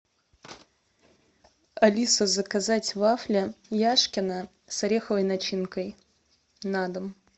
алиса заказать вафли яшкино с ореховой начинкой на дом